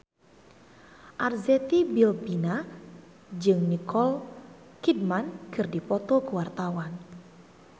Arzetti Bilbina jeung Nicole Kidman keur dipoto ku wartawan